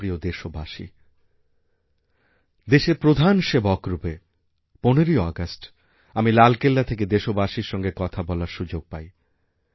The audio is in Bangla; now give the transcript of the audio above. আমারপ্রিয় দেশবাসী দেশের প্রধান সেবক রূপে ১৫ই আগস্ট আমি লালকেল্লা থেকে দেশবাসীরসঙ্গে কথা বলার সুযোগ পাই